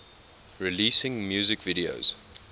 releasing music videos